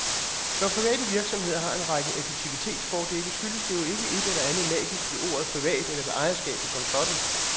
Når private virksomheder har en række effektivitetsfordele, skyldes det jo ikke et eller andet magisk ved ordet privat eller ved ejerskabet som sådan.